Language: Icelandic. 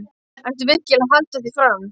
Ertu virkilega að halda því fram?